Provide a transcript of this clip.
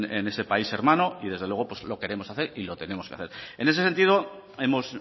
en ese país hermano y desde luego pues lo queremos hacer y lo tenemos que hacer en ese sentido hemos